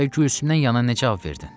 Bəs Gülsümdən yana nə cavab verdin?